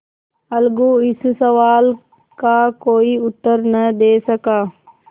अलगू इस सवाल का कोई उत्तर न दे सका